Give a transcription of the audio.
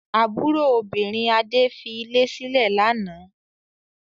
Àbúrò obìnrin Adé fi ilé sílẹ̀ lánàá?